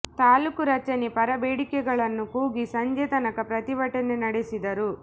ತಾಲೂಕು ರಚನೆ ಪರ ಬೇಡಿಕೆಗಳನ್ನು ಕೂಗಿ ಸಂಜೆ ತನಕ ಪ್ರತಿಭಟನೆ ನಡೆಸಿದರು